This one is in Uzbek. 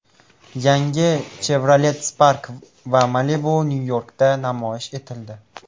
Yangi Chevrolet Spark va Malibu Nyu-Yorkda namoyish etildi .